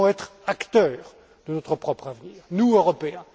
Nous devons être acteurs de notre propre avenir, nous, Européens.